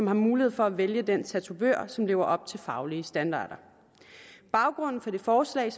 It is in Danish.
har mulighed for at vælge den tatovør som lever op til faglige standarder baggrunden for det forslag